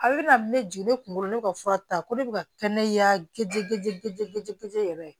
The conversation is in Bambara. A bɛ na ne jigi ne kunkolo ne ka fura ta ko ne bɛ ka kɛnɛjayɛrɛ